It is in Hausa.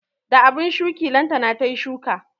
Da abun shuki lantana tayi shuka